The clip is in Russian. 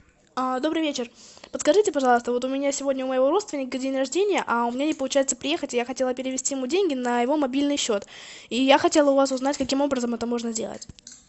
а добрый вечер подскажите пожалуйста вот у меня сегодня у моего родственника день рождения а у меня не получается приехать и я хотела перевести ему деньги на его мобильный счет и я хотела у вас узнать каким образом это можно сделать